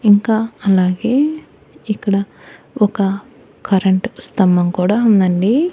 ఇంకా అలాగే ఇక్కడ ఒక కరెంట్ స్తంభం కూడా ఉందండి.